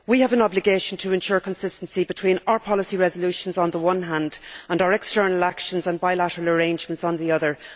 We have an obligation to ensure consistency between our policy resolutions on the one hand and our external actions and bilateral arrangements on the other.